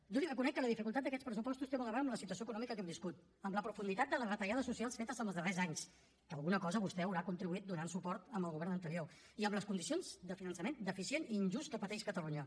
jo li reconec que la dificultat d’aquests pressupostos té molt a veure amb la situació econòmica que hem viscut amb la profunditat de les retallades socials fetes en els darrers anys que alguna cosa vostè hi haurà contribuït donant suport al govern anterior i amb les condicions de finançament deficient i injust que pateix catalunya